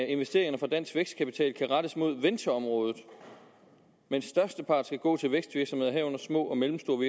investeringerne fra dansk vækstkapital kan rettes mod ventureområdet mens størsteparten skal gå til vækstvirksomheder herunder små og mellemstore